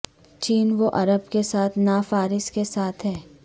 چین و عرب کے ساتھ نہ فارس کے ساتھ ہیں